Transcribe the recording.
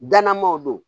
Dannamaw do